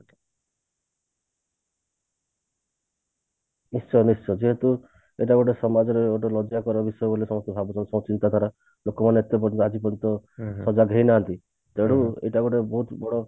ନିଶ୍ଚୟ ନିଶ୍ଚୟ ଯେହେତୁ ଏଟା ଗୋଟେ ସମାଜରେ ଗୋଟେ ଲଜ୍ୟାକର ବିଷୟ ସମସ୍ତେ ଭାବୁଛନ୍ତି ସବୁ ଚିନ୍ତା ଧାରା ଲୋକ ମାନେ ଭାବୁଛନ୍ତି ଯେ ସଜାଗ ହେଇ ନାହାନ୍ତି ତେଣୁ ଏଇଟା ଗୋଟେ ବହୁତ ବଡ